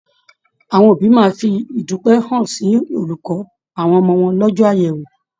Àwọn òbí máa fi idupẹ hàn sí olùkọ àwọn ọmọ wọn lọjọ àyẹwò.